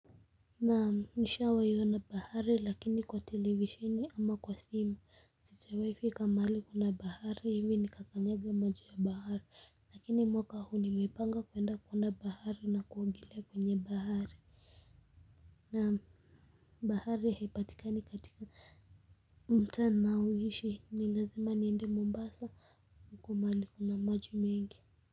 Naam, nishawahi ona bahari lakini kwa televisheni ama kwa simu sijawai fika mahali kuna bahari hivi ni kakanyaga maji ya bahari lakini mwaka huu nimepanga kwenda kuona bahari na kuogelea kwenye bahari na bahari haipatikani katika mtaa ninaoishi ni lazima niende Mombasa huko mahali kuna maji mengi.